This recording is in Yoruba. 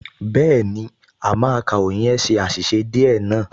Bẹ́ẹ̀ni, àmọ́ akàròyìn yẹn ṣe àṣìṣe díẹ̀ náà